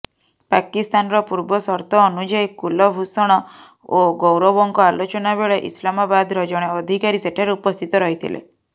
ପାକିସ୍ତାନର ପୂର୍ବସର୍ତ୍ତ ଅନୁଯାୟୀ କୁଲଭୂଷଣ ଓ ଗୌରବଙ୍କ ଆଲୋଚନା ବେଳେ ଇସ୍ଲାମାବାଦର ଜଣେ ଅଧିକାରୀ ସେଠାରେ ଉପସ୍ଥିତ ରହିଥିଲେ